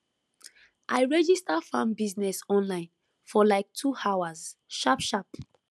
i register farm business online for like 2 hours sharpsharp